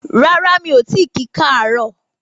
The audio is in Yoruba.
Rárá mi o ti ki kaaro